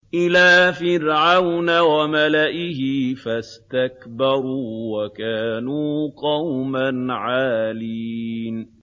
إِلَىٰ فِرْعَوْنَ وَمَلَئِهِ فَاسْتَكْبَرُوا وَكَانُوا قَوْمًا عَالِينَ